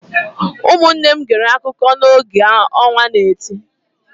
Ụmụnne m gere akụkọ a n’oge ọnwa n'eti